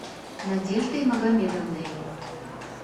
надеждой магомедовной